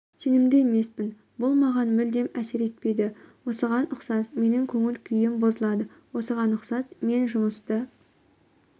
сенімді емеспін бұл маған мүлдем әсер етпейді осыған ұқсас менің көңіл-күйім бұзылады осыған ұқсас мен жұмысты